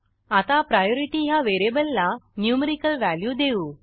आता प्रायोरिटी ह्या व्हेरिएबलला न्युमरीकल व्हॅल्यू देऊ